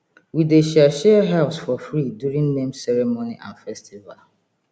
we dey share share herbs for free during name ceremony and festival